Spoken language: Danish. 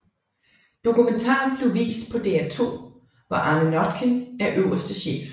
Dokumentaren blev vist på DR2 hvor Arne Notkin er øverste chef